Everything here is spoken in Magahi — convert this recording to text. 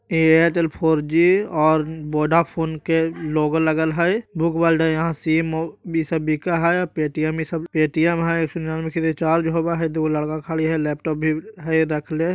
इ एयरटेल और वोडाफोन के लोगो लागल हई। बुक वर्ल्ड हे यहाँ सिम वीम सब बिकई हई पेटीएम पेटीएम हे रिचार्ज होवई हई । ईहा दुगो लड़का खड़ा हई लैपटॉप भी हई ।